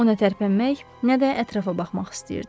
O nə tərpənmək, nə də ətrafa baxmaq istəyirdi.